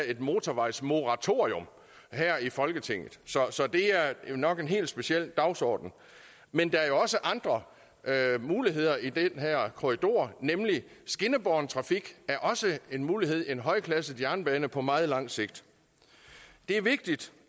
et motorvejsmoratorium her i folketinget så så det er nok en helt speciel dagsorden men der er jo også andre muligheder i den her korridor skinnebåren trafik er også en mulighed en højklasset jernbane på meget lang sigt det er vigtigt